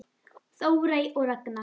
Þórey og Ragna.